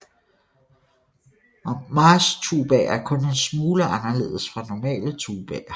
Marchtubaer er kun en smule anderledes fra normale tubaer